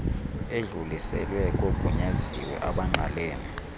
edluliselwe kogunyaziwe abangqalene